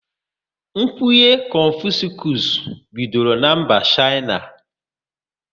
Kwenye Confuscus bidoro na mba Shaina